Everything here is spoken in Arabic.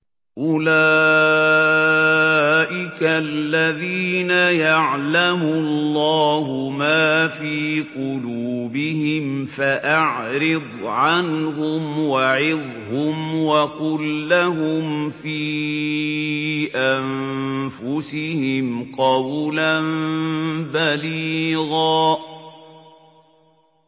أُولَٰئِكَ الَّذِينَ يَعْلَمُ اللَّهُ مَا فِي قُلُوبِهِمْ فَأَعْرِضْ عَنْهُمْ وَعِظْهُمْ وَقُل لَّهُمْ فِي أَنفُسِهِمْ قَوْلًا بَلِيغًا